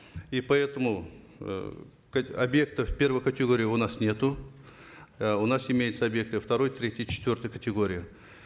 и поэтому э объектов первой категории у нас нету э у нас имеются объекты второй третьей четвертой категории